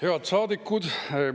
Head saadikud!